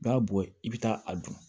B'a bɔ yen i bɛ taa a dun